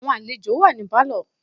Àwọn àlejò wà ní Pálọ̀.